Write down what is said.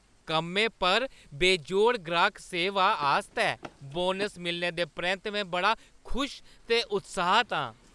कम्मै पर बेजोड़ गाह्क सेवा आस्तै बोनस मिलने दे परैंत्त में बड़ा खुश ते उत्साह्‌त आं।